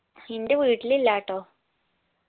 ഇന്റെ വീട്ടിലില്ലാട്ടോ